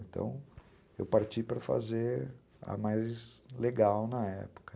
Então, eu parti para fazer a mais legal na época.